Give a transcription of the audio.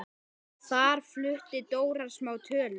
Þar flutti Dóra smá tölu.